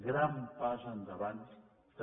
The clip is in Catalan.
gran pas endavant també